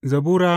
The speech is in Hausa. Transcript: Zabura Sura